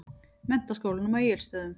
Menntaskólanum á Egilsstöðum.